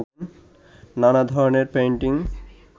নানা ধরনের পেইন্টিং